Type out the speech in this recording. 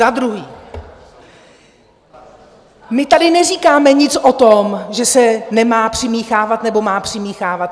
Za druhé, my tady neříkáme nic o tom, že se nemá přimíchávat nebo má přimíchávat.